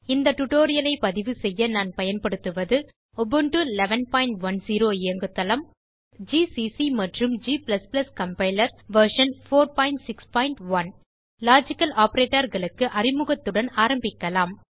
இந்த tutorialஐ பதிவுசெய்ய நான் பயன்படுத்துவதுUbuntu 1110 இயங்குதளம் உபுண்டு ல் ஜிசிசி மற்றும் g கம்பைலர் வெர்ஷன் 461 லாஜிக்கல் operatorகளுக்கு அறிமுகத்துடன் ஆரம்பிக்கலாம்